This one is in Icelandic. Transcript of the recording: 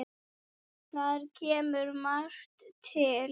Þar kemur margt til.